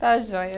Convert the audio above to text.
Está joia.